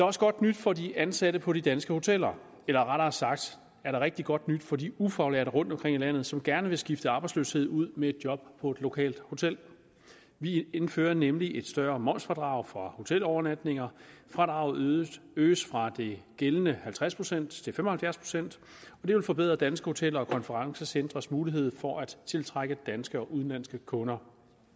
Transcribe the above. også godt nyt for de ansatte på de danske hoteller eller rettere sagt er der rigtig godt nyt for de ufaglærte rundtomkring i landet som gerne vil skifte arbejdsløshed ud med et job på et lokalt hotel vi indfører nemlig et større momsfradrag for hotelovernatninger fradraget øges fra de gældende halvtreds procent til fem og halvfjerds procent det vil forbedre danske hoteller og konferencecentres mulighed for at tiltrække danske og udenlandske kunder